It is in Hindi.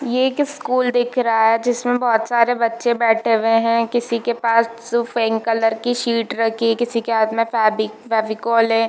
ये एक स्कूल दिख रहा है जिसमें बहुत सारे बच्चे बैठे हुए हैं किसी के पास सु पिंक कलर की शीट रखी है किसी के हाथ में फेवी फेवीकॉल है।